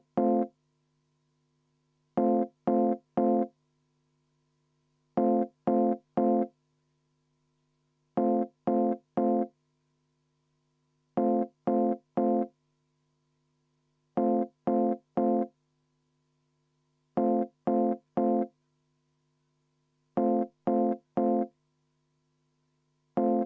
Ma tuleksin hea meelega kõigile vastu ja paluksin kümneminutilist vaheaega, siis saavad kõik veidi puhata.